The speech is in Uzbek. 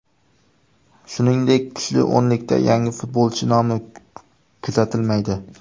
Shuningdek, kuchli o‘nlikda yangi futbolchi nomi kuzatilmaydi.